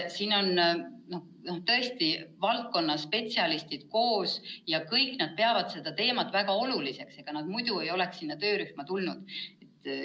Seal on tõesti koos valdkonna spetsialistid ja kõik nad peavad seda teemat väga oluliseks, ega nad muidu ei oleks sellesse töörühma tulnud.